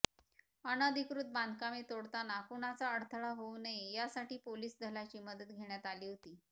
अन्धिकृत बांधकामे तोडताना कुणाचा अडथळा होऊ नये यासाठी पोलीस दलाची मदत घेण्यात आली होती